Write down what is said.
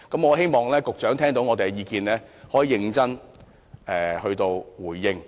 我希望局長聽到我們的意見，可以認真回應。